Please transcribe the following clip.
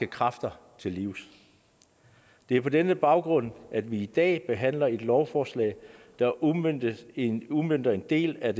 kræfter til livs det er på denne baggrund at vi i dag behandler et lovforslag der udmønter en udmønter en del af